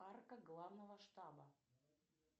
арка главного штаба